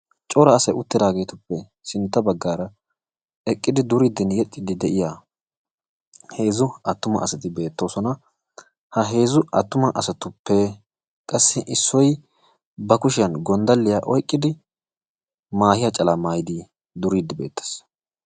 Cora asay uttidaageetuppe sinta bagaara eqqidi duriidinne yexxiidi de'iya heezzu atumma asati beetoososna. Ha heezu atumma asatuppe qassi issoy ba kushiyan gondalliya oyqqidi maahiya calaa maayidi duriidi beetees.